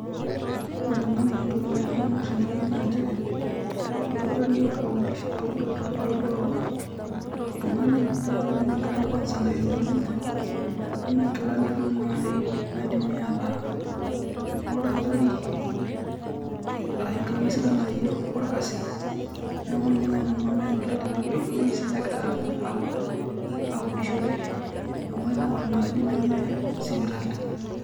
Ore te nanu entoki naaji nemanyor tene wueji naa nchere idolita oldakitari ogira aud oo aud oltung`ani naa ore ninye nkilani kwanza naishopito ninye neme nkilani duo naaji naidim ataa nno ildakitari arashunkilani sidan naaji olkasi. Niaku ninye naaji nanu amen oleng tene o wueji sii negira audishore amu ening`orr inaaji neme sipitali.